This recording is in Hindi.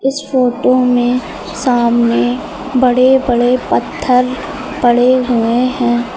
इस फोटो में सामने बड़े बड़े पत्थर पड़े हुए हैं।